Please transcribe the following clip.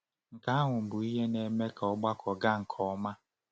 Nke ahụ bụ ihe na-eme ka ọgbakọ gaa nke ọma.